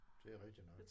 Det er rigtigt nok